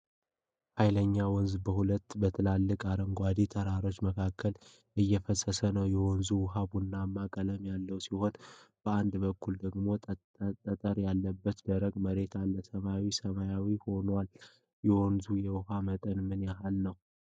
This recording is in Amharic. ኃይለኛ ወንዝ በሁለት በትላልቅ አረንጓዴ ተራራዎች መካከል እየፈሰሰ ነው። የወንዙ ውሀ ቡናማ ቀለም ያለው ሲሆን፣ በአንድ በኩል ደግሞ ጠጠር ያለበት ደረቅ መሬት አለ። ሰማዩ ሰማያዊ ሆኖአል። የወንዙ የውኃ መጠን ምን ያህል ነው?